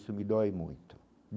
Isso me dói muito.